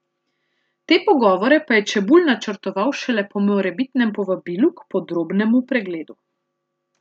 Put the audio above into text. Te pogovore pa je Čebulj načrtoval šele po morebitnem povabilu k podrobnemu pregledu.